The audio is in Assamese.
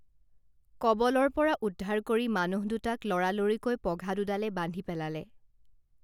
কবলৰ পৰা উদ্ধাৰ কৰি মানুহ দুটাক লৰালৰিকৈ পঘা দুডালে বান্ধি পেলালে